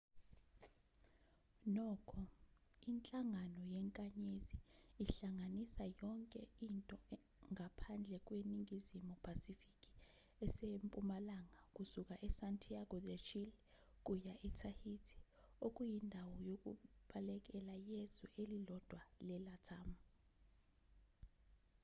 nokho inhlangano yenkanyezi ihlanganisa yonke into ngaphandle kweningizimu phasifiki esempumalanga kusuka esantiago de chile kuya etahiti okuyindawo yokubalekela yezwe elilodwa lelatam